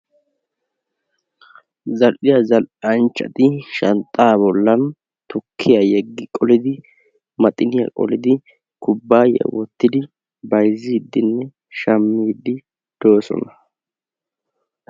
Zal"iyaa zal"anchchati tukkiya bollan maxiniya qollidi, tukkiya yeggi qoliddi kubbayiya wottidi bayzzidinbe shammidi doosona.